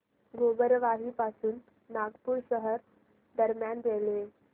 गोबरवाही पासून नागपूर शहर दरम्यान रेल्वे